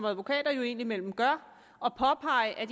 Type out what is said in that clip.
advokater jo indimellem gør og påpege at